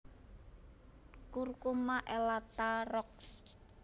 Curcuma elata Roxb